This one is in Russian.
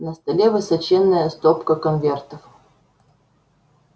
на столе высоченная стопка конвертов